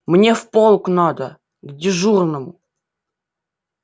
мне в полк надо к дежурному